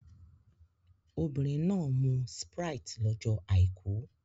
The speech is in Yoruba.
Obìnrin náà mu Sprite lọ́jọ́ Àìkú